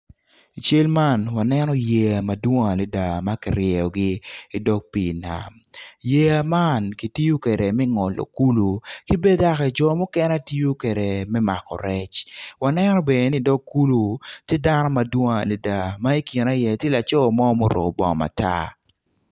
I cal ma waneno yeya ma kiryeyogi madwong adada i dog pii yeya ma kitiyo kwede me ngolo kulu ki bene jo mukene gitiyo kwede me mako rec waneno bene ki i dog kulu tye dano madwong adada ma i kine tye laco mo ma oruko bongo matar.